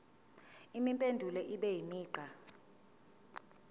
impendulo ibe imigqa